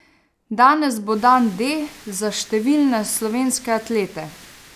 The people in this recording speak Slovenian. Danes bo dan D za številne slovenske atlete.